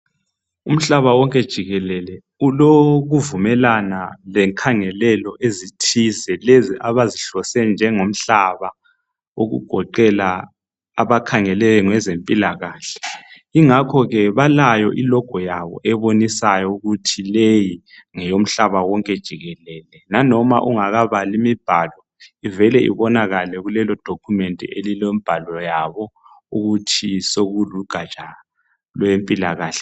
Umhlaba wonke jikelele ulokuvumelana lenkhangelelo ezithize. Lezo abazihlose njengomhlaba. Okugoqela abakhangele ngezezempilakahle. Kungakho ke balayo ilogo yabo, ebonisayo ukuthi leyi ngeyomhlaba wonke jikelele. Langoba ungakabali umbhalo, ivele ibonakale kuleyodocument, elilombhalo wabo ukuthi sekullugatsha olwezempilakahle.